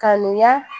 Kanuya